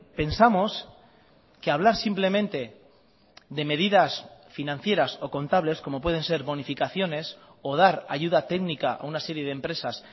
pensamos que hablar simplemente de medidas financieras o contables como pueden ser bonificaciones o dar ayuda técnica a una serie de empresas